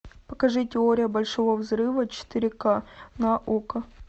покажи теория большого взрыва четыре ка на окко